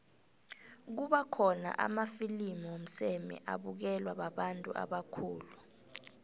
kuba khona namafilimu womseme abukelwa babantu ubakhulu